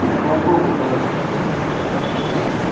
какого полка товарищ лейтенант